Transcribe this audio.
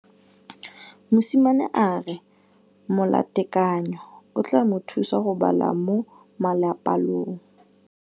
Mosimane a re molatekanyô o tla mo thusa go bala mo molapalong.